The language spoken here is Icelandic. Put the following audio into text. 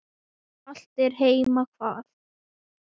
Hollt er heima hvað.